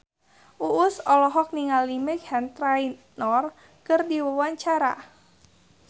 Uus olohok ningali Meghan Trainor keur diwawancara